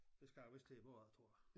Det skal jeg vist til bagefter tror jeg